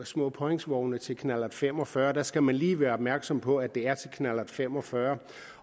små påhængsvogne til knallert fem og fyrre der skal man lige være opmærksom på at det er til knallert fem og fyrre